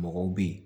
Mɔgɔw bɛ yen